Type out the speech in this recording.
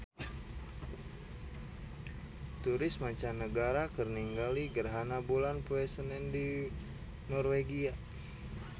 Turis mancanagara keur ningali gerhana bulan poe Senen di Norwegia